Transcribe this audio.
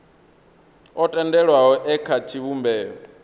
o tendelwaho e kha tshivhumbeo